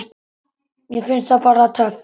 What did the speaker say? Mér finnst það bara töff.